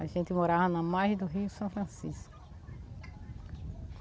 A gente morava na margem do rio São Francisco.